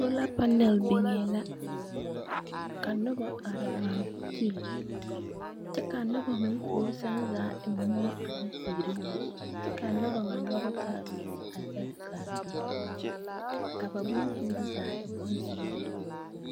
Sola panal biŋee la. Ka noba are ŋmaa gyili kyɛ ka anoba na puori seŋ zaa e moɔ ane teere yoŋ kyɛ ka noba ŋ nyɔge taa nuuri a zɛge ka do ka ba bonsuuri zaa e bonzeere yoŋ.